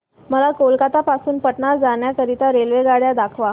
मला कोलकता पासून पटणा जाण्या करीता रेल्वेगाड्या दाखवा